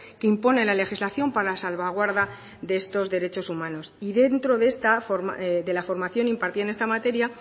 que impone la legislación para salvaguarda de estos derechos humanos y dentro de la formación impartida en esta materia